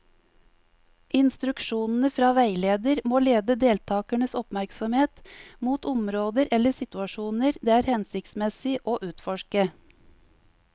Instruksjonene fra veileder må lede deltakernes oppmerksomhet mot områder eller situasjoner det er hensiktsmessig å utforske.